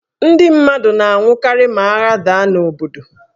Ndị mmadụ na-anwụkarị ma agha daa n' obodo.